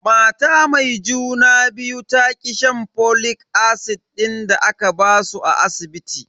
Mata mai juna biyun ta ki shan folic acid din da aka basu a asibiti.